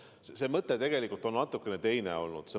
Selle asja mõte on tegelikult olnud natuke teine.